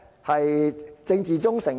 是政治忠誠？